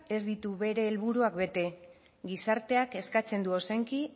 ez ditu bere helburuak bete gizarteak eskatzen du ozenki